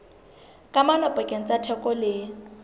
kamano pakeng tsa theko le